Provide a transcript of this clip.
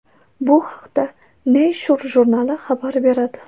Bu haqda Nature jurnali xabar beradi .